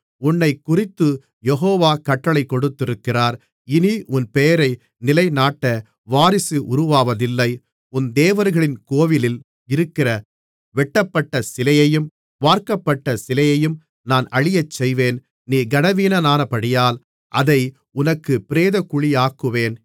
உன்னைக்குறித்துக் Jehovah கட்டளைகொடுத்திருக்கிறார் இனி உன் பெயரை நிலை நாட்ட வாரிசு உருவாவதில்லை உன் தேவர்களின் கோவிலில் இருக்கிற வெட்டப்பட்டசிலையையும் வார்க்கப்பட்ட சிலையையும் நான் அழியச்செய்வேன் நீ கனவீனனானபடியால் அதை உனக்குப் பிரேதக்குழியாக்குவேன்